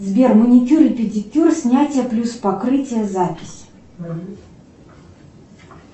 сбер маникюр и педикюр снятие плюс покрытие запись